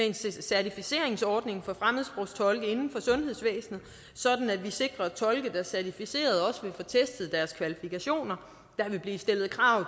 en certificeringsordning for fremmedsprogstolke inden for sundhedsvæsenet sådan at vi sikrer at tolke der er certificerede også vil få testet deres kvalifikationer der vil blive stillet krav